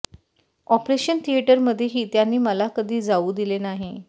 operation थिएटरमध्येही त्यांनी मला कधी जाऊ दिले नाही